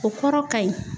O kɔrɔ ka ɲi